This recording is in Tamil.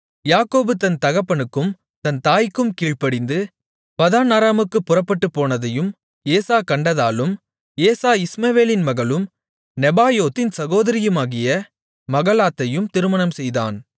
யாக்கோபு தன் தகப்பனுக்கும் தன் தாய்க்கும் கீழ்ப்படிந்து பதான் அராமுக்குப் புறப்பட்டுப்போனதையும் ஏசா கண்டதாலும் ஏசா இஸ்மவேலின் மகளும் நெபாயோத்தின் சகோதரியுமாகிய மகலாத்தையும் திருமணம் செய்தான்